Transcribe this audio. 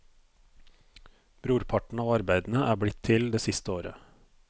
Brorparten av arbeidene er blitt til det siste året.